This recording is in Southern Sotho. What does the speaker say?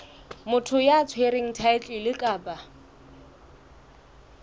motho ya tshwereng thaetlele kapa